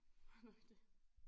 Var nok det